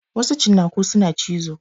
Wasu cinnaku suna cizo.